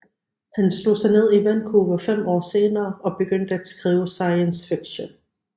Han slog sig ned i Vancouver fem år senere og begyndte at skrive science fiction